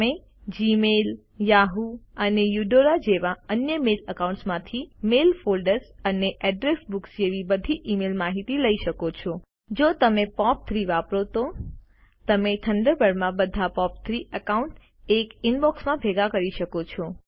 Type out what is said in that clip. તમે Gmail Yahoo અને Eudora જેવા અન્ય મેલ એકાઉન્ટ્સ માંથી મેઇલ ફોલ્ડર્સ અને અડ્રેસ બુક જેવી બધી ઇમેઇલ માહિતી લઇ શકો છો જો તમે પોપ3 વાપરો તો તમે થન્ડરબર્ડ માં બધા પોપ3 એકાઉન્ટ્સ એક ઈનબોક્સમાં ભેગા કરી શકો છો